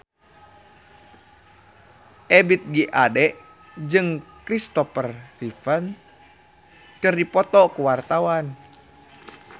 Ebith G. Ade jeung Kristopher Reeve keur dipoto ku wartawan